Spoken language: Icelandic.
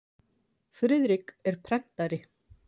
Friðrik er prentari.